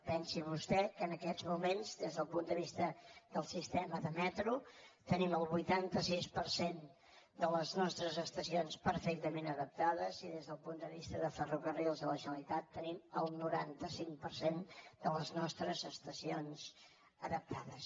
pensi vostè que en aquests moments des del punt de vista del sistema de metro tenim el vuitanta sis per cent de les nostres estacions perfectament adaptades i des del punt de vista de ferrocarrils de la generalitat tenim el noranta cinc per cent de les nostres estacions adaptades